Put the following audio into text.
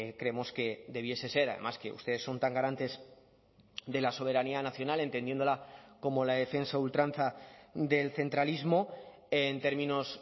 creemos que debiese ser además que ustedes son tan garantes de la soberanía nacional entendiéndola como la defensa a ultranza del centralismo en términos